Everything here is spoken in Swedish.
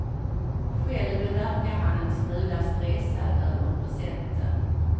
Själv verkar han en smula stressad över presenten.